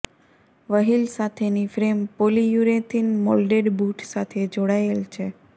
wheel સાથેની frame polyurethane moulded boot સાથે જોડાયેલ છે